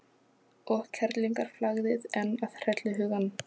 Og kerlingarflagðið enn að hrella hugann.